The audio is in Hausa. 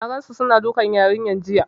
N gansu suna dukan yarinyar jiya.